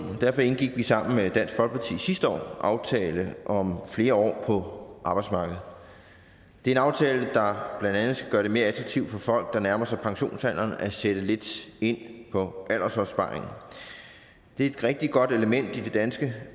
derfor indgik vi sammen med dansk folkeparti sidste år aftalen om flere år på arbejdsmarkedet det er en aftale der blandt andet skal gøre det mere attraktivt for folk der nærmer sig pensionsalderen at sætte lidt ind på aldersopsparingen det er et rigtig godt element i det danske